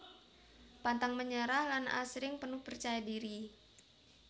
Pantang menyerah lan asring penuh percaya diri